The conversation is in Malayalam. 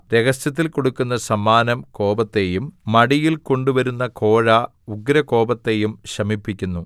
രഹസ്യത്തിൽ കൊടുക്കുന്ന സമ്മാനം കോപത്തെയും മടിയിൽ കൊണ്ടുവരുന്ന കോഴ ഉഗ്രകോപത്തെയും ശമിപ്പിക്കുന്നു